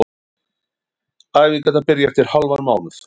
Æfingarnar byrja eftir hálfan mánuð.